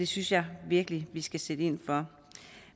synes jeg virkelig vi skal sætte ind